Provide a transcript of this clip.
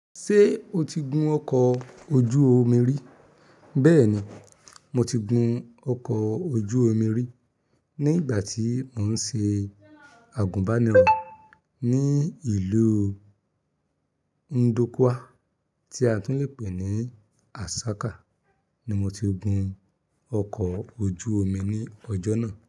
Ṣé o ti gun ọkọ̀ ojú omi rí? Bẹ́ẹ̀ni, mo ti gun ọkọ̀ ojú omi rí ní ìgbà tí mò ń ṣe àgùnbánirọ̀ ní ìlú Ndukwa, tí a tún lè pè ní Asaka ni mo ti gun ọkọ̀ ojú omi ní ọjọ́ náà.